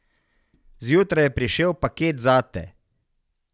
Zjutraj je prišel paket zate.